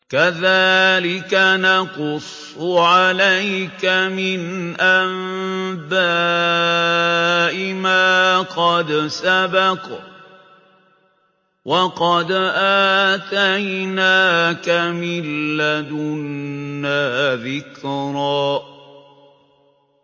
كَذَٰلِكَ نَقُصُّ عَلَيْكَ مِنْ أَنبَاءِ مَا قَدْ سَبَقَ ۚ وَقَدْ آتَيْنَاكَ مِن لَّدُنَّا ذِكْرًا